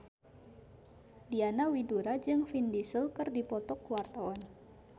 Diana Widoera jeung Vin Diesel keur dipoto ku wartawan